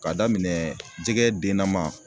K'a daminɛ jɛgɛ denna man